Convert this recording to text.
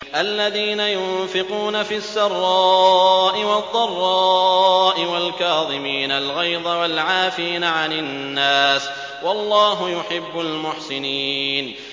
الَّذِينَ يُنفِقُونَ فِي السَّرَّاءِ وَالضَّرَّاءِ وَالْكَاظِمِينَ الْغَيْظَ وَالْعَافِينَ عَنِ النَّاسِ ۗ وَاللَّهُ يُحِبُّ الْمُحْسِنِينَ